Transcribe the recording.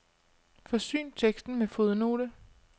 Forsyn teksten med fodnote.